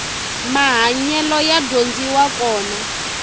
mahanyelo ya dyondziwa kona